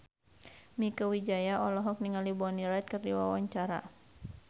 Mieke Wijaya olohok ningali Bonnie Wright keur diwawancara